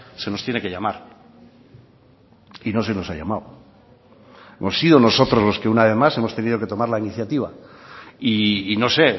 se nos tiene que llamar y no se nos ha llamado hemos sido nosotros los que una vez más hemos tenido que tomar la iniciativa y no sé